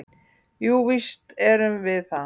"""Jú, víst erum við það."""